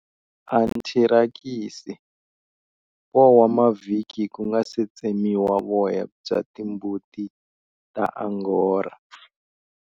Anthirakisi, 4 wa mavhiki ku nga si tsemiwa voya bya timbuti ta Angora.